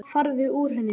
Farðu úr henni.